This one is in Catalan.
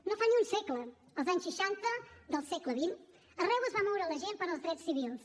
no fa ni un segle als anys seixanta del segle xx arreu es va moure la gent pels drets civils